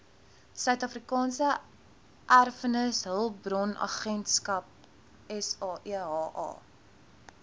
suidafrikaanse erfenishulpbronagentskap saeha